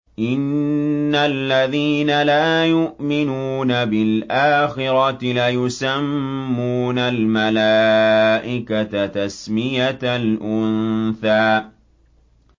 إِنَّ الَّذِينَ لَا يُؤْمِنُونَ بِالْآخِرَةِ لَيُسَمُّونَ الْمَلَائِكَةَ تَسْمِيَةَ الْأُنثَىٰ